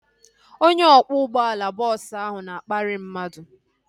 Onye ọkwọ ụgbọala bọọsu ahu na-akparị mmadụ